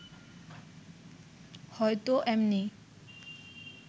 হয়তো এমনি